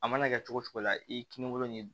A mana kɛ cogo cogo la i kininkolo ni